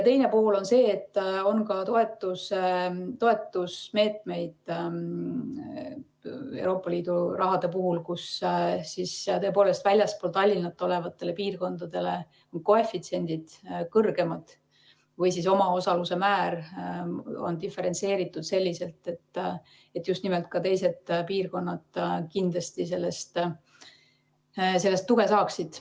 Teine pool on see, et ka Euroopa Liidu raha puhul on toetusmeetmeid, kus tõepoolest väljaspool Tallinna olevatele piirkondadele on koefitsiendid kõrgemad või on omaosaluse määr diferentseeritud selliselt, et just nimelt ka teised piirkonnad kindlasti sellest tuge saaksid.